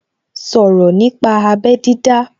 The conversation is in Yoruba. Sọ̀rọ̀ nípa abẹ́ dídá